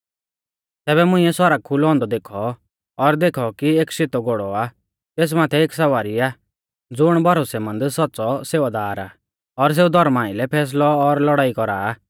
तैबै मुंइऐ सौरग खुलौ औन्दौ देखौ और देखौ कि एक शेतौ घोड़ौ आ तेस माथै एक सवारी आ ज़ुण भरोसैमंद सौच़्च़ौ सेवादार आ और सेऊ धौर्मा आइलै फैसलौ और लड़ाई कौरा आ